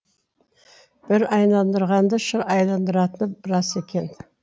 бір айналдырғанды шыр айналдыратыны рас екен